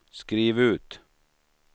skriv ut